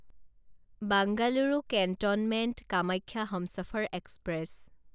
Bengaluru cantonment Kamakhya Humsafar express